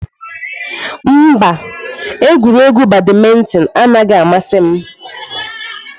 Mba, egwuregwu badmintoni anaghị amasị m.